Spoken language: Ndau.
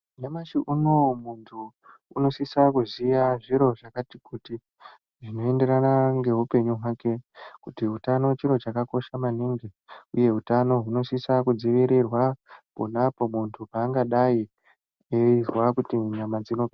Nyamashi unowu muntu unosisa kuziya zviro zvakati kuti zvinoenderana ngeupenyu hwake kuti utano chiro chakakosha maningi uye utano hunosisa kudzivirirwa ponapo muntu paangadai eizwa kuti nyama dzino..